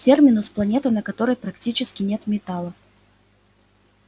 терминус планета на которой практически нет металлов